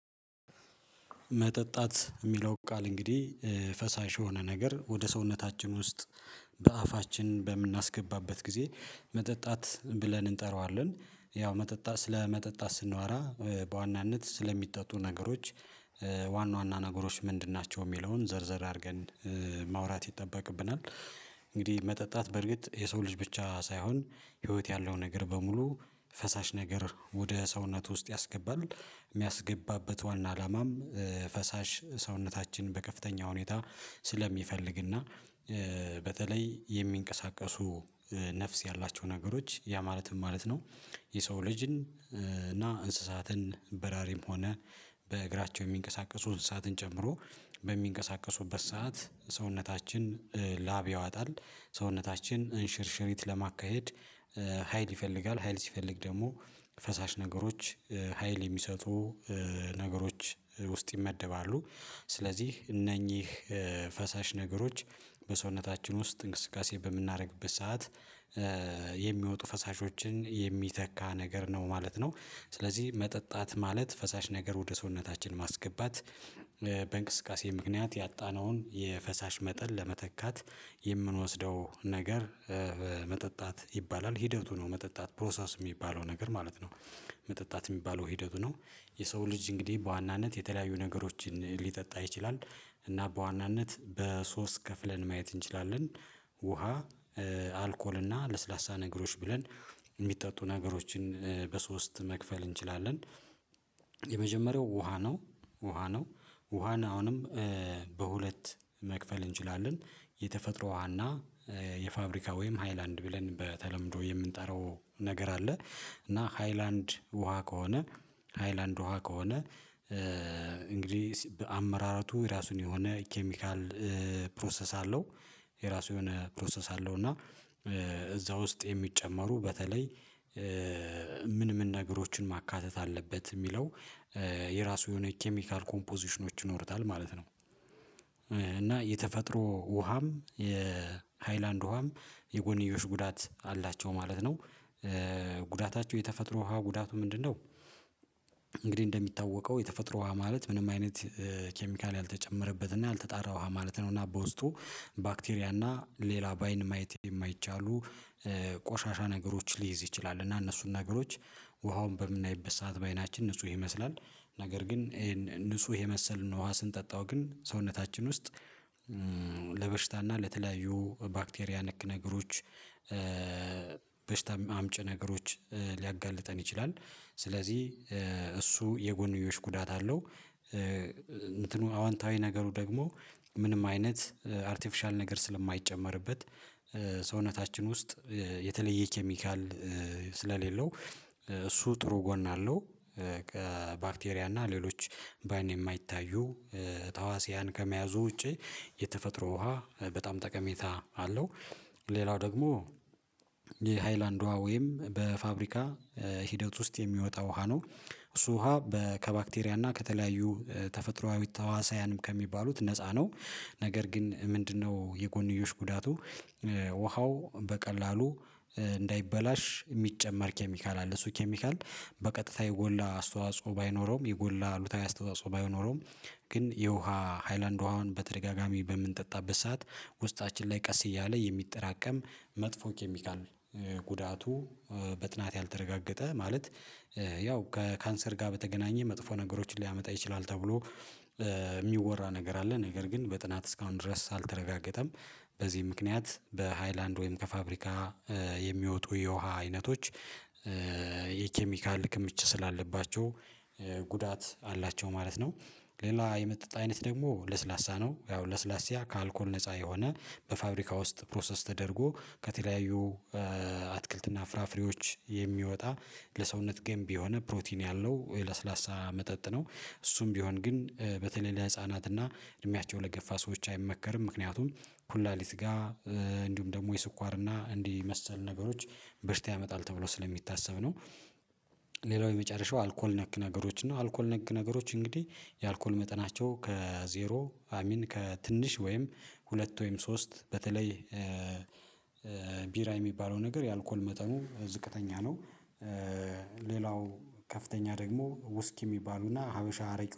መጠጣት ሚለው ቃል እንግዲህ ፈሳሽ የሆነ ነገር ወደ ሰውነታችን ውስጥ በአፋችን በምናስገባበት ጊዜ መጠጣት ብለን እንጠራዋለን። ያው መጠጣት ስለ መጠጣት ስናወራ በዋናነት ስለሚጠጡ ነገሮች ዋና ዋና ነገሮች ምንድን ናቸው ሚለውን ዘርዘር አድርገን ማውራት ይጠበቅብናል። እንግዲህ መጠጣት በእርግጥ የሰው ልጅ ብቻ ሳይሆን ህይወት ያለው ነገር በሙሉ ፈሳሽ ነገር ወደ ሰውነቱ ውስጥ ያስገባል። ሚያስገባበት ዋና አላማም ፈሳሽ ሰውነታችን በከፍተኛ ሁኔታ ስለሚፈልግና በተለይ የሚንቀሳቀሱ ነፍስ ያላቸው ነገሮች ያ ማለት ምን ማለት ነው? የሰው ልጅን እና እንስሳትን በራሪም ሆነ በእግራቸው የሚንቀሳቀሱ እንስሳትን ጨምሮ በሚንቀሳቀሱበት ሰዓት ሰውነታችን ላብ ያወጣል፥ ሰውነታችን እንሽርሽሪት ለማካሄድ ሀይል ይፈልጋል። ሀይል ሲፈልግ ደግሞ ፈሳሽ ነገሮች ሀይል የሚሰጡ ነገሮች ውስጥ ይመደባሉ ስለዚህ እነኚህ ፈሳሽ ነገሮች በሰውነታችን ውስጥ እንቅስቃሴ በምናደርግበት ሰዓት የሚወጡ ፈሳሾችን የሚተካ ነገር ነው ማለት ነው። ስለዚህ መጠጣት ማለት ፈሳሽ ነገር ወደ ሰውነታችን ማስገባት፥ በእንቅስቃሴ ምክንያት ያጣነውን የፈሳሽ መጠን ለመተካት የምንወስደው ነገር መጠጣት ይባላል። ሂደቱ ነው መጠጣት ፕሮሰስ ሚባለው ነገር ማለት ነው መጠጣት ሚባለው ሂደቱ ነው። የሰው ልጅ እንግዲህ በዋናነት የተለያዩ ነገሮችን ሊጠጣ ይችላል እና በዋናነት በሶስት ከፍለን ማየት እንችላለን። ውሃ፣ አልኮል እና ለስላሳ ነገሮች ብለን የሚጠጡ ነገሮችን በሶስት መክፈል እንችላለን የመጀመሪያው ውሃ ነው፥ ውሃ ነው። ውሃን አሁንም በሁለት መክፈል እንችላለን። የተፈጥሮ ውሃ እና የፋብሪካ ወይም ሃይላንድ ብለን በተለምዶ የምንጠራው ነገር አለ። እና ሃይላንድ ውሃ ከሆነ ሃይላንድ ውሃ ከሆነ በአመራረቱ የራሱን የሆነ ኬሚካል ፕሮሰስ አለው የራሱ የሆነ ፕሮሰስ አለው እና እዛ ውስጥ የሚጨመሩ በተለይ ምን ምን ነገሮችን ማካተት አለበት የሚለው የራሱ የሆነ ኬሚካል ኮምፖዚሽኖች ይኖሩታል ማለት ነው። እና የተፈጥሮ ውሃም የሃይላንድ ውሃም የጎንዮሽ ጉዳት አላቸው ማለት ነው። ጉዳታቸው፥ የተፈጥሮ ውሃ ጉዳቱ ምንድነው? እንግዲህ እንደሚታወቀው የተፈጥሮ ውሃ ማለት ምንም አይነት ኬሚካል ያልተጨመረበት እና ያልተጣራ ውሃ ማለት ነው። እና በውስጡ ባክቴሪያ እና ሌላ በአይን ማየት የማይቻሉ ቆሻሻ ነገሮች ሊይዝ ይችላል እና እነሱን ነገሮች ውሃውን በምናይበት ሰዓት በአይናችን ንጹህ ይመስላል። ነገር ግን ይሄን ንጹህ የመሰለን ውሃ ስንጠጣው ግን ሰውነታችን ውስጥ ለበሽታና ለተለያዩ ባክቴሪያ ነክ ነገሮች በሽታም አምጪ ነገሮች ሊያጋልጠን ይችላል። ስለዚህ እሱ የጎንዮሽ ጉዳት አለው አዎንታዊ ነገሩ ደግሞ ምንም አይነት አርቴፊሻል ነገር ስለማይጨመርበት ውስጥ የተለየ ኬሚካል ስለሌለው እሱ ጥሩ ጎን አለው። ባክቴሪያ እና ሌሎች በአይን የማይታዩ ተህዋሲያን ከመያዙ ውጪ የተፈጥሮ ውሃ በጣም ጠቀሜታ አለው። ሌላው ደግሞ የሃይላንድ ውሃ ወይም በፋብሪካ ሂደት ውስጥ የሚወጣ ውሃ ነው። እሱ ውሃ ከባክቴሪያ እና ከተለያዩ ተፈጥሮአዊ ተህዋስያንም ከሚባሉት ነፃ ነው። ነገር ግን ምንድነው የጎንዮሽ ጉዳቱ ውሃው በቀላሉ እንዳይበላሽ የሚጨመር ኬሚካል አለ። እሱ ኬሚካል በቀጥታ የጎላ አስተዋጽኦ ባይኖረውም የጎላ አሉታዊ አስተዋጽኦ ባይኖረውም ግን የውሃ ሃይላንድ ውሃውን በተደጋጋሚ በምንጠጣበት ሰዓት ውስጣችን ላይ ቀስ እያለ የሚጠራቀም መጥፎ ኬሚካል ጉዳቱ በጥናት ያልተረጋገጠ ማለት ያው ከካንሰር ጋር በተገናኘ መጥፎ ነገሮችን ሊያመጣ ይችላል ተብሎ የሚወራ ነገር አለ። ነገር ግን በጥናት እስካሁን ድረስ አልተረጋገጠም። በዚህ ምክንያት በሃይላንድ ወይም ከፋብሪካ የሚወጡ የውሃ አይነቶች የኬሚካል ክምችት ስላለባቸው ጉዳት አላቸው ማለት ነው። ሌላ የመጠጥ አይነት ደግሞ ለስላሳ ነው። ያው ለስላሳ ከአልኮል ነፃ የሆነ በፋብሪካ ውስጥ ፕሮሰስ ተደርጎ ከተለያዩ አትክልትና ፍራፍሬዎች የሚወጣ ለሰውነት ገንቢ የሆነ ፕሮቲን ያለው የለስላሳ መጠጥ ነው። እሱም ቢሆን ግን በተለይ ለህፃናት እና እድሜያቸው ለገፋ ሰዎች አይመከርም። ምክንያቱም ኩላሊት ጋ እንዲሁም ደግሞ የስኳር እና እንዲህ የመሰል ነገሮች በሽታ ያመጣል ተብሎ ስለሚታሰብ ነው። ሌላው የመጨረሻው አልኮል ነክ ነገሮች ነው። አልኮል ነክ ነገሮች እንግዲህ የአልኮል መጠናቸው ከዜሮ አይ ሚን ከትንሽ ወይም ሁለት ወይም ሶስት በተለይ ቢራ የሚባለው ነገር የአልኮል መጠኑ ዝቅተኛ ነው። ሌላው ከፍተኛ ደግሞ ውስኪ ሚባሉና ሀበሻ አረቄ